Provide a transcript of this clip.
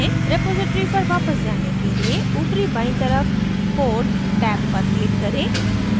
repository पर वापस जाने लिए ऊपरी बायीं तरफ code टैब पर click करें